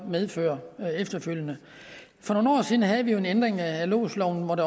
medfører efterfølgende for nogle år siden havde vi jo en ændring af lodsloven